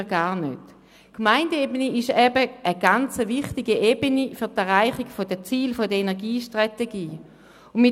Die Gemeindeebene ist für die Erreichung der Ziele der Energiestrategie sehr wichtig.